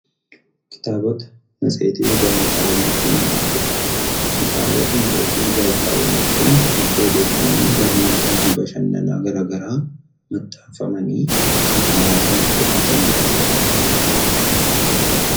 Kitaabota, matseetii fi gaazexaawwan jechuun maal jechuudha? Kitaabota, Matseetii fi gaazexaawwan jechuun madda odeeffannoo, barnootaa fi bashannana garaa garaa maxxanfamanii kan hawwaasaaf dhiyaatan jechuudha.